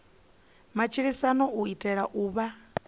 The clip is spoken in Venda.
matshilisano u itela u vha